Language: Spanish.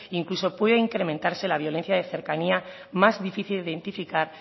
incluso puede incrementarse la violencia de cercanía más difícil de identificar